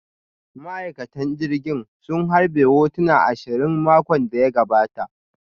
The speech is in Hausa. Ma'aikatan jirgin sun harbe hotuna ashirin a makon da ya gabata